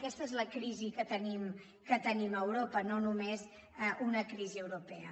aquesta és la crisi que tenim a europa no només una crisi europea